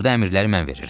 Burda əmirləri mən verirəm.